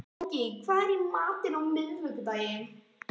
Logey, hvað er í matinn á miðvikudaginn?